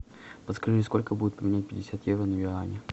подскажи сколько будет поменять пятьдесят евро на юани